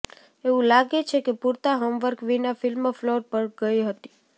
એવું લાગે છે કે પૂરતા હોમ વર્ક વિના ફિલ્મ ફ્લોર પર ગઈ હતી